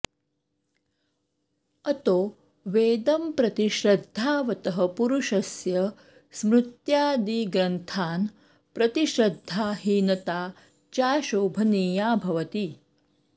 अतो वेदं प्रति श्रद्धावतः पुरुषस्य स्मृत्यादिग्रन्थान् प्रति श्रद्धाहीनता चाशोभनीया भवति